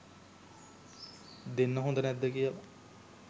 දෙන්න හොඳ නැද්ද කියල